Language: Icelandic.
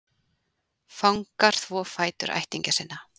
Fangar þvo fætur ættingja sinna